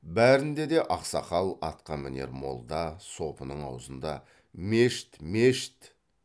бәрінде де ақсақал атқамінер молда сопының аузында мешіт мешіт